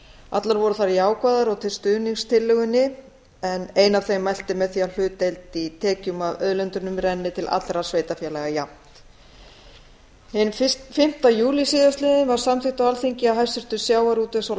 allar voru þær jákvæðar og til stuðnings tillögunni en ein af þeim mælti með því að hlutdeild í tekjum af auðlindunum renni til allra sveitarfélaga jafnt hinn fimmti júlí síðastliðinn var samþykkt á alþingi af hæstvirtum sjávarútvegs og